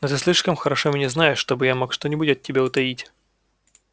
но ты слишком хорошо меня знаешь чтобы я мог что-нибудь от тебя утаить